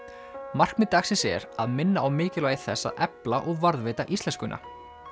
markmið dagsins er að minna á mikilvægi þess að efla og varðveita íslenskuna